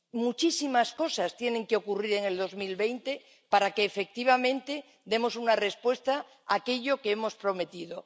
Muchísimas cosas tienen que ocurrir en 2020 para que efectivamente demos una respuesta a aquello que hemos prometido.